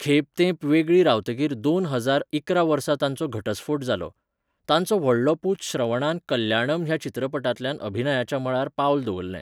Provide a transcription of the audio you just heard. खेब तेंप वेगळीं रावतकीर दोन हजार इकरा वर्सा तांचो घटस्फोट जालो. तांचो व्हडलो पूत श्रवणान कल्याणम ह्या चित्रपटांतल्यान अभिनयाच्या मळार पावल दवरलें.